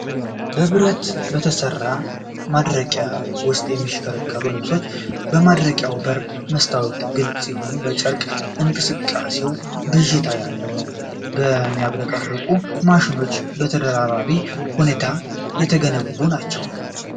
በብረት በተሠሩ ማድረቂያዎች ውስጥ የሚሽከረከሩ ልብሶችን። የማድረቂያው በር መስታወት ግልጽ ሲሆን፣ የጨርቅ እንቅስቃሴው ብዥታ ያለው ነው። የሚያብረቀርቁት ማሽኖች በተደራራቢ ሁኔታ የተገነቡ ናቸው።